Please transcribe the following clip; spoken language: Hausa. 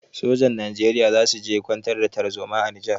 Sojin Najeriya za su je kwantar da tarzoma a Nijar.